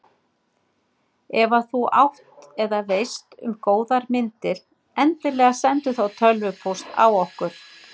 Ef að þú átt eða veist um góðar myndir endilega sendu þá tölvupóst á okkur.